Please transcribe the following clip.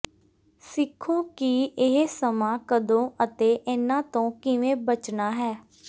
ਸਿੱਖੋ ਕਿ ਇਹ ਸਮਾਂ ਕਦੋਂ ਅਤੇ ਇਹਨਾਂ ਤੋਂ ਕਿਵੇਂ ਬਚਣਾ ਹੈ